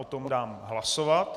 O tom dám hlasovat.